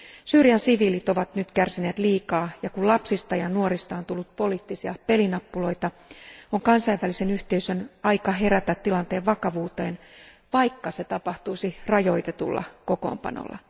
Syyrian siviilit ovat nyt kärsineet liikaa, ja kun lapsista ja nuorista on tullut poliittisia pelinappuloita, on kansainvälisen yhteisön aika herätä tilanteen vakavuuteen, vaikka se tapahtuisi rajoitetulla kokoonpanolla.